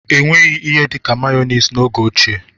Enweghị ihe dịka meyoniz n'oge ochie.